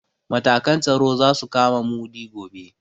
Matakan tsaro za su kama Mudi gobe.